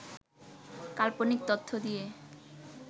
কাল্পনিক তথ্য দিয়ে